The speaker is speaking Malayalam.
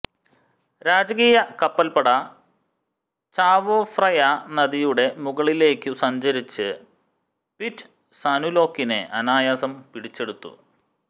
രാജകീയ കപ്പൽപ്പട ചാവോ ഫ്രയാ നദിയുടെ മുകളിലേയ്ക്കു സഞ്ചരിച്ച് പിറ്റ്സാനുലോക്കിനെ അനായാസം പിടിച്ചെടുത്തു